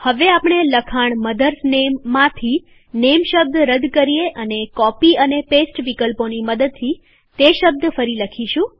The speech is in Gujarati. હવે આપણે લખાણ મધર્સ નેમમાંથી નેમ શબ્દ રદ કરીએ અને કોપી અને પેસ્ટ વિકલ્પોની મદદથી તે શબ્દ ફરી લખીશું